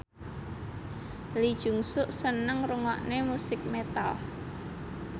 Lee Jeong Suk seneng ngrungokne musik metal